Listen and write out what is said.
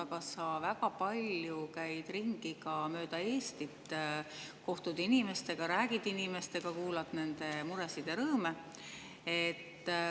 Sa käid ka väga palju ringi mööda Eestit, kohtud inimestega, räägid nendega ning kuulad nende muresid ja rõõme.